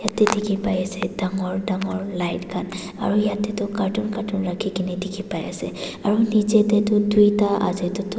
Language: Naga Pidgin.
ete dikhi pai ase dangor dangor light khan aro yatae toh carton carton rakhi kae na dikhi paiase aro nichaetae toh tuita ase.